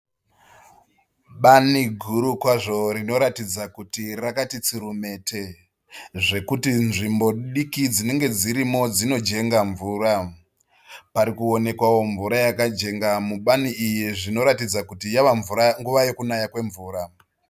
Bani guru kwazvo rinoratidza kuti rakati tsurumete zvekuti nzvimbo diki dzinenge dzirimo dzinojenga mvura. Parikuwonekwawo mvura yakajenga mubani iri zvinoratidza kuti yava nguva yekunaya kwemvura.